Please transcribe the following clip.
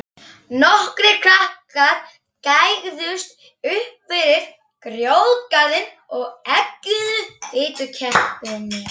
Nokkrir krakkar gægðust uppfyrir grjótgarðinn og eggjuðu fitukeppinn.